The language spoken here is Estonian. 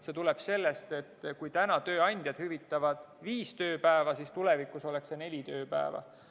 See tuleb sellest, et kui täna tööandjad hüvitavad viis tööpäeva, siis tulevikus oleks see neli tööpäeva.